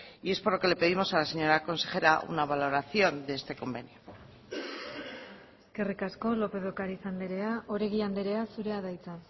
y es por lo que le pedimos a la señora consejera una valoración de este convenio eskerrik asko lópez de ocariz andrea oregi andrea zurea da hitza